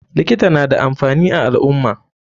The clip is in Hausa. Likita nada amfani a alummah.